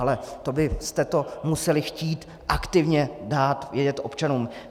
Ale to byste to museli chtít aktivně dát vědět občanům.